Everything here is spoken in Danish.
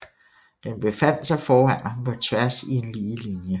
Den befandt sig foran ham på tværs i en lige linje